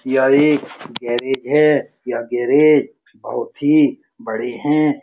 यह एक गैरेज है। यह गैरेज बहुत ही बड़े हैं।